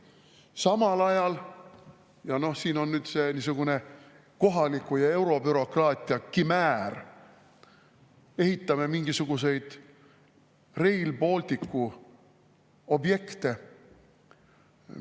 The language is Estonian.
Samal ajal – see on niisugune kohaliku ja eurobürokraatia kimäär – ehitame mingisuguseid Rail Balticu objekte.